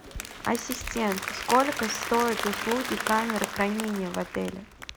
ассистент сколько стоят услуги камеры хранения в отеле